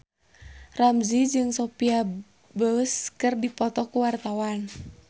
Ramzy jeung Sophia Bush keur dipoto ku wartawan